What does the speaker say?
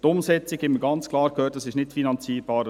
Die Umsetzung – das haben wir gehört – ist nicht finanzierbar.